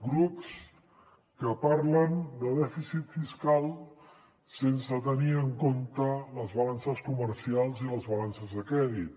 grups que parlen de dèficit fiscal sense tenir en compte les balances comercials i les balances de crèdit